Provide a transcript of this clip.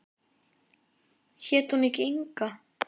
Hét hún ekki Inga?